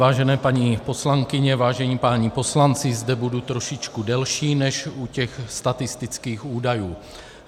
Vážené paní poslankyně, vážení páni poslanci, zde budu trošičku delší než u těch statistických údajů.